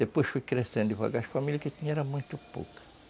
Depois fui crescendo devagar, as famílias que tinha eram muito poucas.